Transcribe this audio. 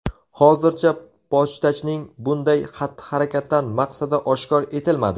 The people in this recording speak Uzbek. Hozircha pochtachining bunday xatti-harakatdan maqsadi oshkor etilmadi.